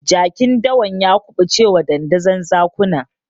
Jakin dawan ya kuɓucewa dandazon zakuna.